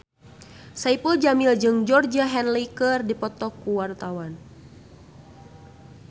Saipul Jamil jeung Georgie Henley keur dipoto ku wartawan